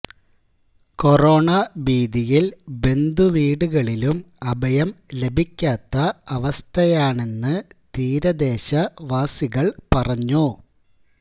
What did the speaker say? corona ഭീതിയില് ബന്ധുവീടുകളിലും അഭയം ലഭിക്കാത്ത അവസ്ഥയാണെന്ന് തീരദേശ വാസികള് പറഞ്ഞു